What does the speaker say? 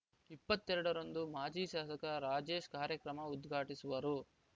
ಇಪ್ಪತ್ತ್ ಎರಡ ರಂದು ಮಾಜಿ ಶಾಸಕ ರಾಜೇಶ್‌ ಕಾರ್ಯಕ್ರಮ ಉದ್ಘಾಟಿಸುವರು